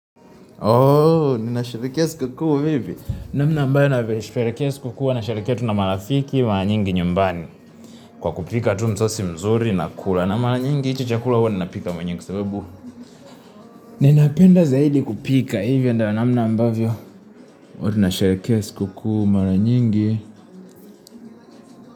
Ooh, ninasherehekea sikukuu mimi. Namna ambayo, nasherekea sikukuu, nasherekea tu na marafiki, maranyingi nyumbani. Kwa kupika tu msosi mzuri, nakula na maranyingi, hicho chakula huwa ninapika mwenyewe, kwa sababu. Ninapenda zaidi kupika, hivyo ndo namna ambavyo. Niko tu nasherekea sikukuu, maranyingi.